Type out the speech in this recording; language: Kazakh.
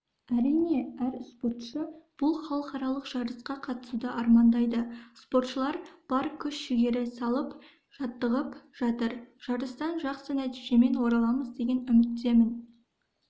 әрине әр спортшы бұл халықаралық жарысқа қатысуды армандайды спортшылар бар күш-жігері салып жаттығып жатыр жарыстан жақсы нәтижемен ораламыз деген үміттемін